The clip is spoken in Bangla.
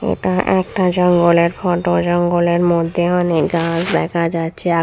এটা একটা জঙ্গলের ফটো জঙ্গলের মধ্যে অনেক গাছ দেখা যাচ্ছে আ--